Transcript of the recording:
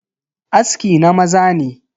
Aski na maza ne.